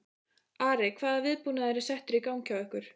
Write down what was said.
Ari, hvaða viðbúnaður var settur í gang hjá ykkur?